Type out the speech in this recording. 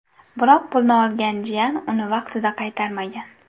Biroq pulni olgan jiyan uni vaqtida qaytarmagan.